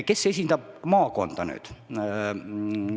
Kes esindab maakonda nüüd?